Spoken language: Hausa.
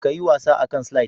ka yi wasa a kan "slide"